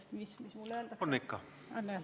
Mis mulle selle peale öeldaks?